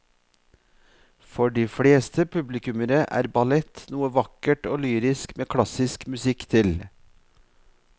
For de fleste publikummere er ballett noe vakkert og lyrisk med klassisk musikk til.